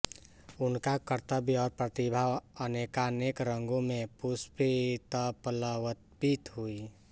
उनका कर्तृत्व और प्रतिभा अनेकानेक रंगों में पुष्पितपल्लवित हुई